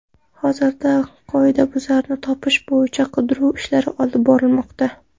Hozirda qoidabuzarni topish bo‘yicha qidiruv ishlari olib borilmoqda.